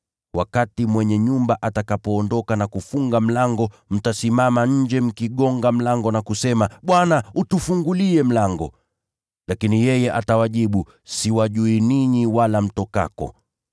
Wakati mwenye nyumba atakapoondoka na kufunga mlango, mtasimama nje mkibisha mlango na kusema, ‘Bwana! Tufungulie mlango!’ “Lakini yeye atawajibu, ‘Siwajui ninyi, wala mtokako.’